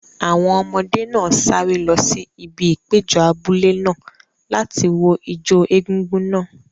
Àwọn ọmọdé náà sáré lọ sí ibi ìpéjọ abúlé náà láti wo ijó egúngún náà.